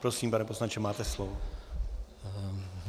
Prosím, pane poslanče, máte slovo.